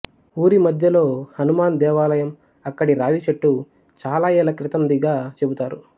ఊరి మధ్యలో హనుమాన్ దేవాలయం అక్కడి రావి చెట్టు చాల ఏళ్ళ క్రితందిగా చెపుతారు